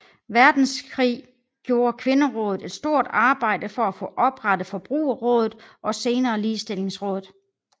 Verdenskrig gjorde Kvinderådet et stort arbejde for at få oprettet Forbrugerrådet og senere Ligestillingsrådet